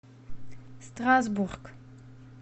страсбург